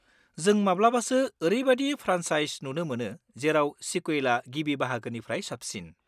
जों माब्लाबासो औरैबायदि फ्रानसाइस नुनो मोनो जेराव सिकुवेला गिबि बाहागोनिफ्राय साबसिन।